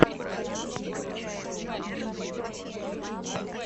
ты можешь показать последний выпуск эльмаксэль лук